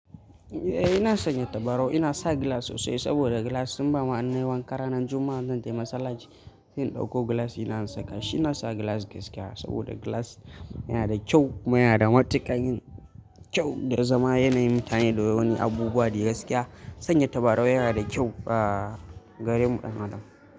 Eh ina sanya tabarau, ina sa gilas sosai saboda gilas Musamma inayi wanka ranar Juma'a zan tafi masallaci. Sai in dauko gilas dina in saka shi. Ina sa gilas gaskiya saboda gilas yana da kyau kuma yana da matuƙan yin kyau da ya zama yana yin kayan da wani abubuwa da gaskiya. Sanya tabarau yana da kyau a gare mu 'yan Adam.